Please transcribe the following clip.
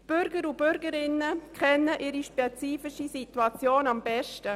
Bürger und Bürgerinnen kennen ihre spezifische Situation am besten.